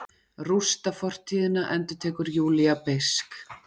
Rústa fortíðina, endurtekur Júlía beisk.